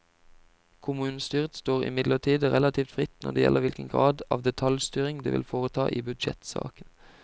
Kommunestyret står imidlertid relativt fritt når det gjelder hvilken grad av detaljstyring det vil foreta i budsjettsaken.